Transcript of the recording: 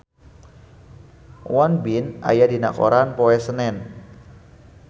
Won Bin aya dina koran poe Senen